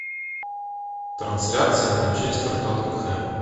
трансляция манчестер тоттенхэм